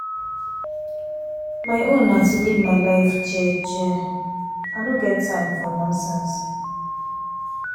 My own na to live my life jeje, I know get time for nonsense.